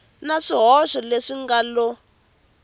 na swihoxo leswi nga lo